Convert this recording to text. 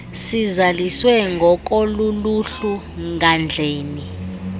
sizaliswe ngokoluluhlu ngandleni